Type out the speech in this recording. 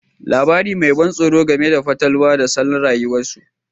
Labari mai ban tsoro game da fatalwa da salon rayuwarsu